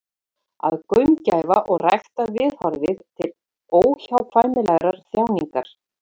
Að gaumgæfa og rækta viðhorfið til óhjákvæmilegrar þjáningar.